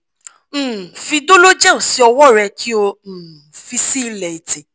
um fi dologel si ọwọ rẹ ki o um fi si ilẹ ètè